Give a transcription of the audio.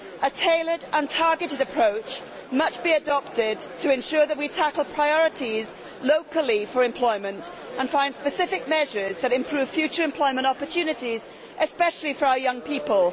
A tailored and targeted approach must be adopted to ensure that we tackle priorities locally for employment and find specific measures that improve future employment opportunities, especially for our young people.